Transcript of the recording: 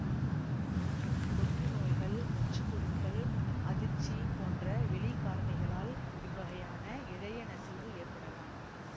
தொற்றுநோய்கள் நச்சுப்பொருட்கள் அதிர்ச்சி போன்ற வெளிக்காரணிகளால் இவ்வகையான இழையநசிவு ஏற்படலாம்